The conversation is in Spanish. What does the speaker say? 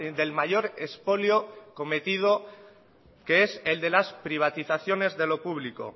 del mayor expolio cometido que es el de las privatizaciones de lo público